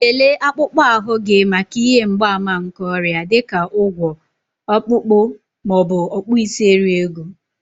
Lelee akpụkpọ ahụ gị maka ihe mgbaàmà nke ọrịa, dị ka ụgwọ̀, Ọkpụkpụ, ma ọ bụ okpuisieriego